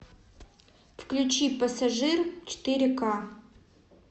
включи пассажир четыре ка